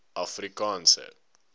afrikaanse